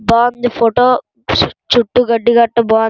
బాగావుంది photo చుట్లు గడి గ్రేట్ర బాగుందండి.